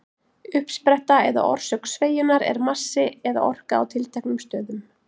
Uppspretta eða orsök sveigjunnar er massi eða orka á tilteknum stöðum.